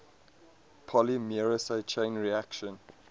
polymerase chain reaction